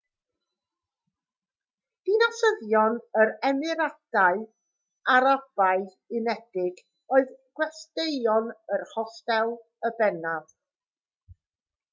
dinasyddion yr emiradau arabaidd unedig oedd gwesteion yr hostel yn bennaf